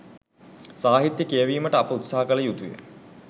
සාහිත්‍යය කියැවීමට අප උත්සහ කළ යුතුය